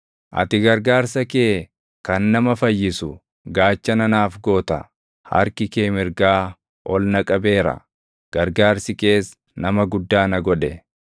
Ati gargaarsa kee kan nama fayyisu gaachana naaf goota; harki kee mirgaa ol na qabeera; gargaarsi kees nama guddaa na godhe.